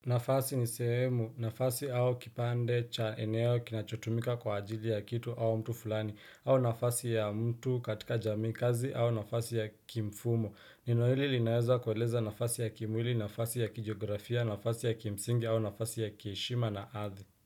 Nafasi ni sehemu, nafasi au kipande cha eneo kinachotumika kwa ajili ya kitu au mtu fulani, au nafasi ya mtu katika jamii, kazi au nafasi ya kimfumo. Neno hili linaweza kueleza nafasi ya kimwili, nafasi ya kijografia, nafasi ya kimsingi au nafasi ya kiheshima na hadhi.